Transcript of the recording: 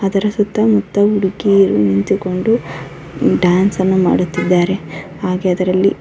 ಅದರ ಸುತ್ತ ಮುತ್ತ ಹುಡುಗಿಯರು ನಿಂತುಕೊಂಡು ಡ್ಯಾನ್ಸ್ ಅನ್ನು ಮಾಡುತ್ತಿದ್ದಾರೆ ಹಾಗೆ ಅದರಲ್ಲಿ --